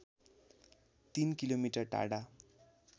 ३ किमि टाढा